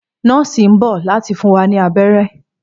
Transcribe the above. Nọọsi n bọ lati fun wa ni abẹrẹ.